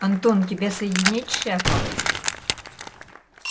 антон тебя соединить с шефом